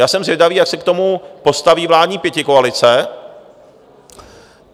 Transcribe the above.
Já jsem zvědavý, jak se k tomu postaví vládní pětikoalice.